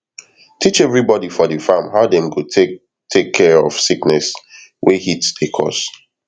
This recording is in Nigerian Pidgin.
teach everybody for di farm how dem go take take care of sickness wey heat dey cause